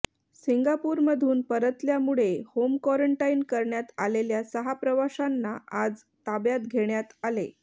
सिंगापूरमधून परतल्यामुळे home quarantine करण्यात आलेल्या सहा प्रवाशांना आज ताब्यात घेण्यात आले